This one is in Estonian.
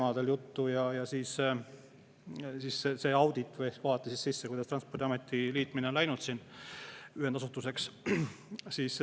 Audit vaatas sisse sellesse, kuidas Transpordiameti liitmine ühendasutuseks on läinud.